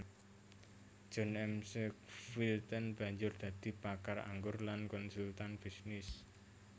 John McQuilten banjur dadi pakar anggur lan konsultan bisnis